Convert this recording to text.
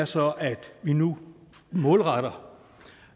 så er at vi nu målretter